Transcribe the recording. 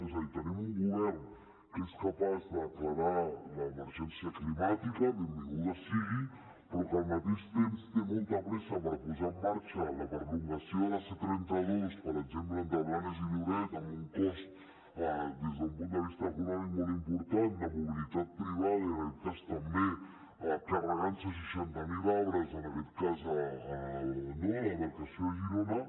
és a dir tenim un govern que és capaç de declarar l’emergència climàtica benvinguda sigui però que al mateix temps té molta pressa per posar en marxa la prolongació de la c trenta dos per exemple entre blanes i lloret amb un cost des d’un punt de vista econòmic molt important de mobilitat privada i en aquest cas també carregant se seixanta mil arbres a la demarcació de girona